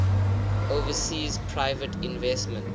overseas private investment